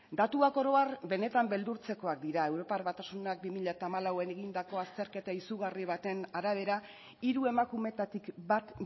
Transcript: datuak oro har benetan beldurtzekoak dira europar batasunak bi mila hamalauan egindako azterketa izugarri baten arabera hiru emakumeetatik bat